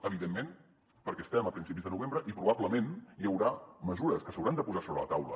evidentment perquè estem a principis de novembre i probablement hi haurà mesures que s’hauran de posar sobre la taula